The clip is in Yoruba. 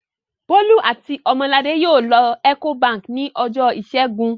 Bólú àti Ọmọladé yóò lọ Ecobank ní ọjọ́ ìṣẹ́gun.